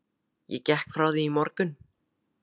Ég gekk frá því í morgun.